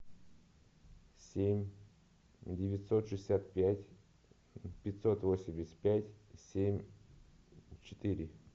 семь девятьсот шестьдесят пять пятьсот восемьдесят пять семь четыре